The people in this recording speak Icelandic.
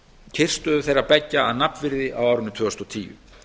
kyrrstöðu þeirra beggja að nafnvirði á árinu tvö þúsund og tíu